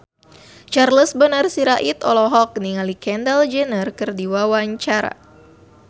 Charles Bonar Sirait olohok ningali Kendall Jenner keur diwawancara